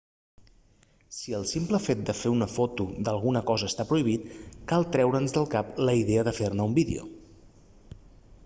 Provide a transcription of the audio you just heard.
si el simple fet de fer una foto d'alguna cosa està prohibit cal treure's del cap la idea de fer-ne un vídeo